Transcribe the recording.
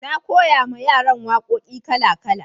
na koya ma yaran waƙoƙi kala kala